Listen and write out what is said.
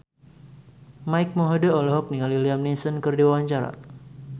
Mike Mohede olohok ningali Liam Neeson keur diwawancara